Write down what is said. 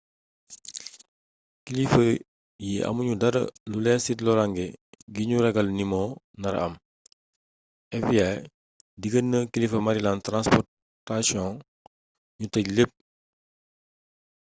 kilifa yi amul ñudara lu leer ci loraange ngi ñu ragal ni moo nara am fbi deggal na kilifay maryland transportaion ñu tëj lépp